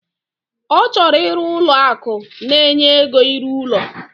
Ochoro iru Ụlọ akụ na enye ego iru ulo